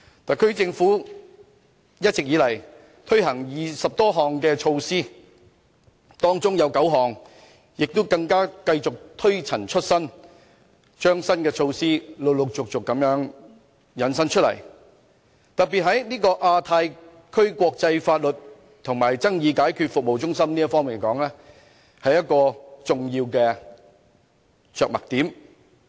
特區政府一直以來共推行20多項措施，當中9項更繼續推陳出新，陸續引申出新措施，就以亞太區國際法律及爭議解決服務中心來說，這便是一個重要的着墨點。